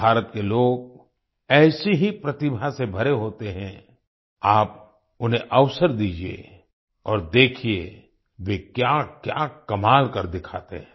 भारत के लोग ऐसी ही प्रतिभा से भरे होते हैं आप उन्हें अवसर दीजिए और देखिए वे क्याक्या कमाल कर दिखाते हैं